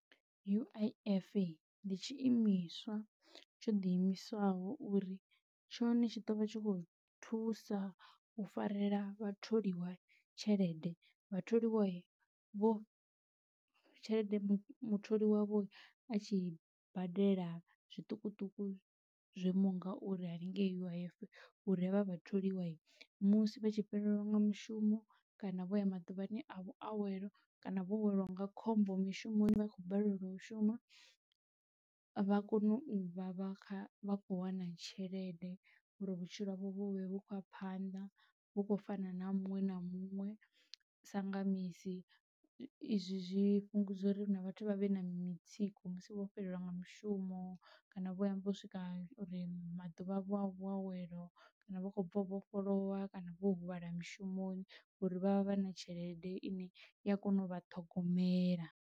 U_I_F ndi tshi imiswa tsho ḓi imisaho uri tshone tshi ḓo vha tshi khou thusa u farela vha tholiwa tshelede vha tholiwai vho tshelede mutholi wavho a tshi badela zwiṱukuṱuku zwoimaho ngauri hanengei uif uri havha vhatholiwa musi vha tshi fhelelwa nga mushumo kana vho ya maḓuvhani a vhuawelo kana vho welwa nga khombo mishumoni vha khou balelwa u shuma vha kone u vha vha vha khou wana tshelede ngori vhutshilo havho vho vhu khou a phanḓa vhu kho fana na ha muṅwe na muṅwe sa nga misi izwi zwifhungudza uri hu na vhathu vha vhe na mitsiko musi vho fhelelwa nga mushumo kana vho yavho swika uri maḓuvha avho a vhuawelo kana vha khou bva u vhofholowa kana vho huvhala mushumoni ngori vha vha vha na tshelede ine i ya kona u vha ṱhogomela.